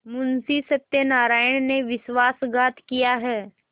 मुंशी सत्यनारायण ने विश्वासघात किया है